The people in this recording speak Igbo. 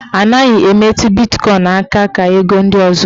A naghị emetụ bitkọin aka ka ego ndị ọzọ.